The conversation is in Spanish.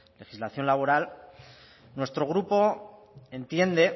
legislación laboral nuestro grupo entiende